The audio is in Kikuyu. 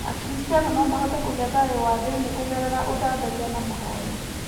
Akristiano no mahote kũgĩa thayũ wa thĩinĩ kũgerera ũthathaiya na mahoya.